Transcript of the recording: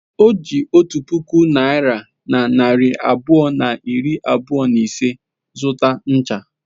O ji otu puku naịra na narị abụọ na iri abụọ na ise zụta ncha.